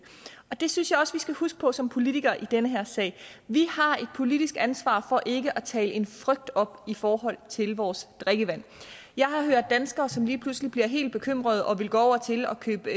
det synes jeg også at vi skal huske på som politikere i den her sag vi har et politisk ansvar for ikke at tale en frygt op i forhold til vores drikkevand jeg har hørt danskere som lige pludselig bliver helt bekymrede og vil gå over til at købe